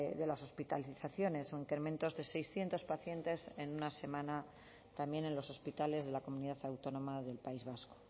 de las hospitalizaciones o incrementos de seiscientos pacientes en una semana también en los hospitales de la comunidad autónoma del país vasco